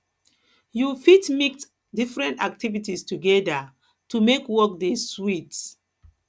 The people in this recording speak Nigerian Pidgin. you fit mix different activities together to make work dey sweet